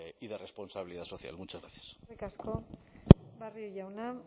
y de responsabilidad social muchas gracias eskerrik asko barrio jauna